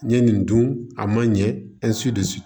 N ye nin dun a man ɲɛ